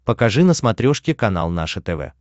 покажи на смотрешке канал наше тв